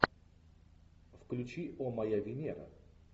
включи о моя венера